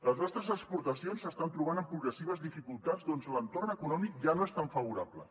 les nostres exportacions s’estan trobant amb progressives dificultats perquè l’entorn econòmic ja no és tan favorable